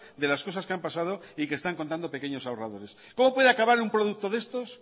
de las cosas que han pasado y que están contando pequeños ahorradores cómo puede acabar en un producto de estos